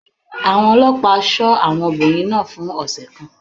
Àwọn ọlọ́pàá ṣọ́ arábìnrin náà fún ọ̀sẹ̀ kan.